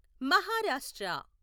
Maharashtra